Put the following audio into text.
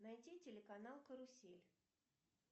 найти телеканал карусель